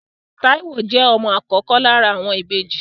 Táíwò jẹ́ ọmọ àkọ́kọ́ lára àwọn ìbejì